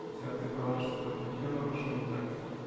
да ты права что-то определённо пошло не так